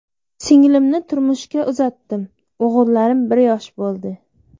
Singlimni turmushga uzatdim, o‘g‘illarim bir yosh bo‘ldi.